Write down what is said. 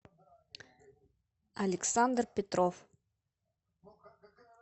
александр петров